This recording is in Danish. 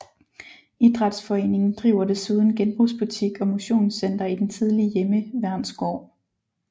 Idrætsforeningen driver desuden genbrugsbutik og motionscenter i den tidligere hjemmeværnsgård